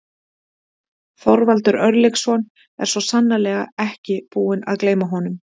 Þorvaldur Örlygsson er svo sannarlega ekki búinn að gleyma honum.